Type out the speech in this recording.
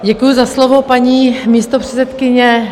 Děkuju za slovo, paní místopředsedkyně.